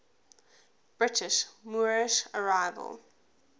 britain's moorish revival